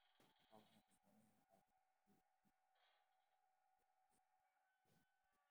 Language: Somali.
Waa maxay astamaha iyo calaamadaha Brachydactyly A afarad?